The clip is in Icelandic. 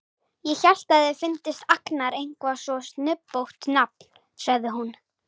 Ég hélt að þér fyndist Agnar eitthvað svo snubbótt nafn, sagði hún.